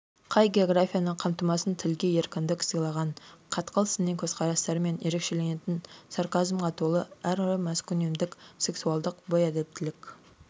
қай географияны қамтымасын тілге еркіндік сыйлаған қатқыл сыни көзқарастарымен ерекшеленетін сарказмға толы әрі маскүнемдік сексуалдылық бейәдептілік